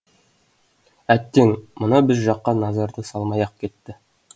әттең мына біз жаққа назарды салмай ақ кетті